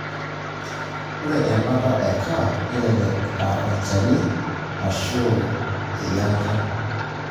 Ore ebata e CAH nelelek a olchani ashu eyiangata.